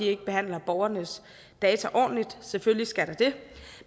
ikke behandler borgernes data ordentligt selvfølgelig skal der det